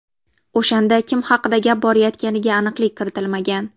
O‘shanda kim haqida gap borayotganiga aniqlik kiritilmagan.